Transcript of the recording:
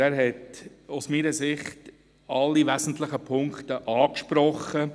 der BaK. Er hat, meiner Meinung nach, alle wesentlichen Punkte angesprochen.